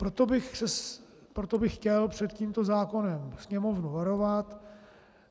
Proto bych chtěl před tímto zákonem Sněmovnu varovat.